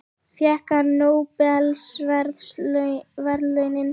Fékk hann nóbelsverðlaunin?